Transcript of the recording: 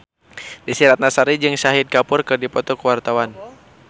Desy Ratnasari jeung Shahid Kapoor keur dipoto ku wartawan